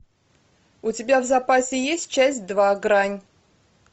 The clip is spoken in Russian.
у тебя в запасе есть часть два грань